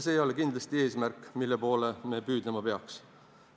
See ei ole kindlasti eesmärk, mille poole me püüdlema peaks.